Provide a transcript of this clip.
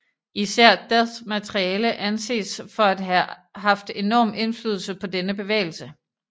Især Deaths materiale anses for at have haft enorm indflydelse på denne bevægelse